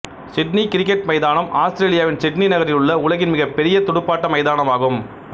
Sydney cricket மைதானம் ஆஸ்திரேலியாவின் Sydney நகரில் உள்ள உலகின் மிக பெரிய துடுப்பாட்ட மைதானம் ஆகும்